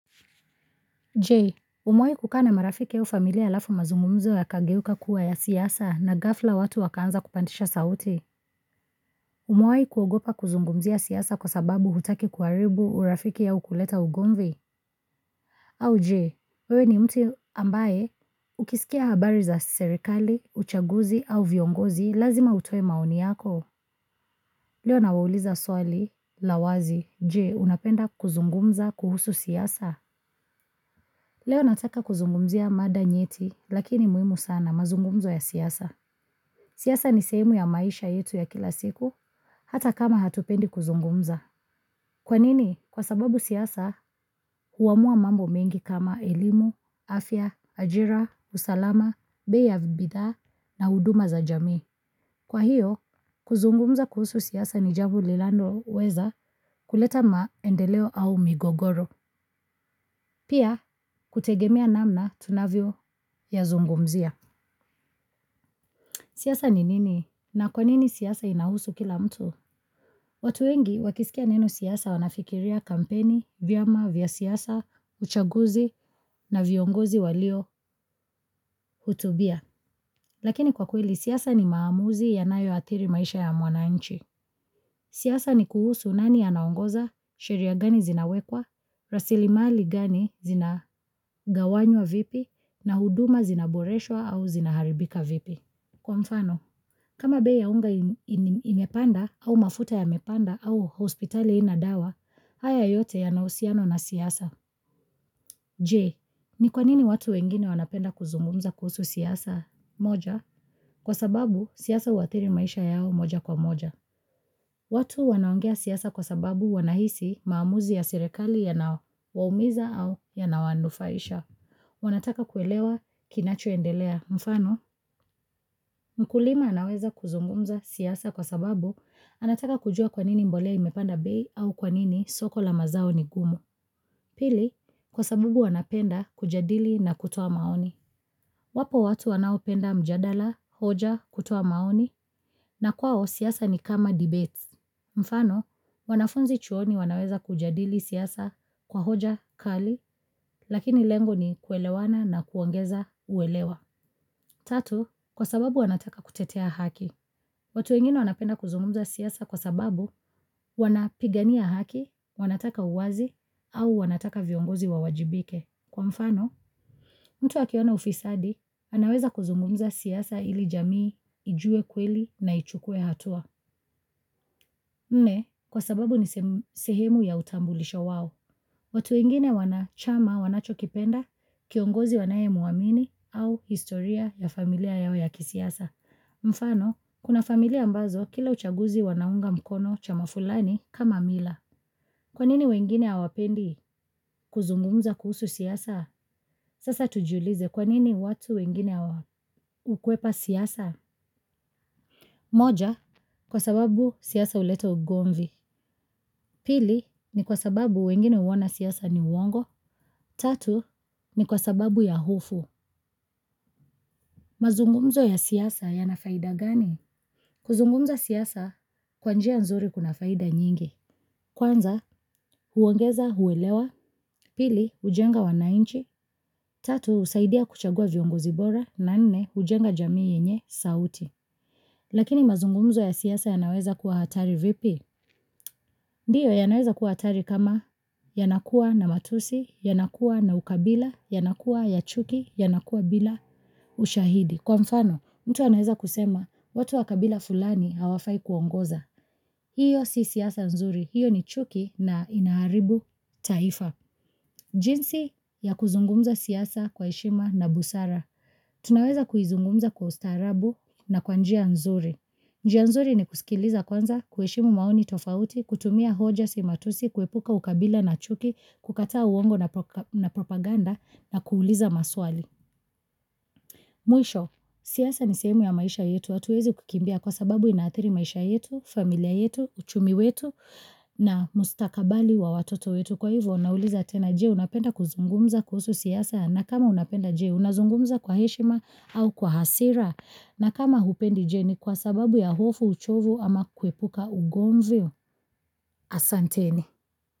Je Umewai kukaa na marafiki au familia laafu mazungumzo yakageuka kuwa ya siasa na ghafla watu wakaanza kupandisha sauti Umewai kuogopa kuzungumzia siasa kwa sababu hutaki kuaribu urafiki au kuleta ugomvi au Je wewe ni mtu ambaye ukisikia habari za serekali, uchaguzi au viongozi lazima utoe maoni yako Leo nawauliza swali la wazi Je unapenda kuzungumza kuhusu siasa Leo nataka kuzungumzia mada nyeti lakini muimu sana mazungumzo ya siasa. Siasa ni sehemu ya maisha yetu ya kila siku hata kama hatupendi kuzungumza. Kwa nini kwa sababu siasa huamua mambo mengi kama elimu, afya, ajira, usalama, bei ya bidhaa na uduma za jamii Kwa hiyo kuzungumza kuhusu siasa ni javu lilanoweza kuleta maendeleo au migogoro. Pia kutegemea namna tunavyo yazungumzia. Siasa ni nini na kwa nini siasa inahusu kila mtu? Watu engi wakisikia neno siasa wanafikiria kampeni, vyama, vya siasa, uchaguzi na viongozi walio hutubia. Lakini kwa kweli siasa ni maamuzi yanayo athiri maisha ya mwananchi. Siasa ni kuhusu nani anaongoza, sheria gani zinawekwa, rasili mali gani zina gawanywa vipi, na huduma zinaboreshwa au zinaharibika vipi. Kwa mfano, kama bei ya unga imepanda au mafuta yamepanda au hospitali haina dawa, haya yote yanausiano na siasa. Je ni kwanini watu wengine wanapenda kuzungumza kuhusu siasa moja kwa sababu siasa uatiri maisha yao moja kwa moja. Watu wanaongea siasa kwa sababu wanahisi maamuzi ya serekali yanawaumiza au yanawanufaisha. Wanataka kuelewa kinacho endelea. Mfano, mkulima anaweza kuzungumza siasa kwa sababu anataka kujua kwanini mbolea imepanda bei au kwanini soko la mazao ni gumu. Pili, kwa sabubu wanapenda kujadili na kutoa maoni. Wapo watu wanaopenda mjadala, hoja, kutoa maoni, na kwao siasa ni kama debates. Mfano, wanafunzi chuoni wanaweza kujadili siasa kwa hoja kali, lakini lengo ni kuelewana na kungeza uelewa. Tatu, kwa sababu wanataka kutetea haki. Watu wengine wanapenda kuzungumza siasa kwa sababu wanapigania haki, wanataka uwazi au wanataka viongozi wa wajibike. Kwa mfano, mtu akiona ufisadi, anaweza kuzungumza siasa ili jamii ijue kweli na ichukue hatua. Nne, kwa sababu ni sehemu ya utambulisho wao. Watu wengine wana chama wanacho kipenda, kiongozi wanaye muamini au historia ya familia yao ya kisiasa. Mfano, kuna familia mbazo kila uchaguzi wanaunga mkono chama fulani kama mila. Kwanini wengine awapendi kuzungumza kuhusu siasa? Sasa tujiulize kwanini watu wengine ukwepa siasa? Moja, kwa sababu siasa uleta ugomvi. Pili ni kwa sababu wengine uoana siasa ni uongo. Tatu ni kwa sababu ya hofu. Mazungumzo ya siasa yana faida gani? Kuzungumza siasa, kwa njia nzuri kuna faida nyingi. Kwanza, huongeza, huwelewa. Pili, ujenga wanainchi. Tatu, husaidia kuchagua viongozi bora. Na nne, hujenga jamii yenye, sauti. Lakini mazungumzo ya siasa yanaweza kuwa hatari vipi? Ndiyo yanaweza kuwa atari kama yanakuwa na matusi, yanakuwa na ukabila, yanakuwa ya chuki, yanakuwa bila ushahidi. Kwa mfano, mtu anaweza kusema, watu wa kabila fulani hawafai kuongoza. Hiyo si siasa nzuri, hiyo ni chuki na inaharibu taifa. Jinsi ya kuzungumza siasa kwa heshima na busara, tunaweza kuizungumza kwa ustarabu na kwa njia nzuri. Njia nzuri ni kusikiliza kwanza, kueshimu maoni tofauti, kutumia hoja si matusi, kuepuka ukabila na chuki, kukataa uongo na propaganda na kuuliza maswali. Mwisho, siasa ni seemu ya maisha yetu hatuwezi kukimbia kwa sababu inaathiri maisha yetu, familia yetu, uchumi wetu na mustakabali wa watoto wetu. Kwa hivyo nauliza tena je unapenda kuzungumza kuhusu siasa na kama unapenda je unazungumza kwa heshima au kwa hasira na kama hupendi je ni kwa sababu ya hofu uchovu ama kuepuka ugomvi asanteni.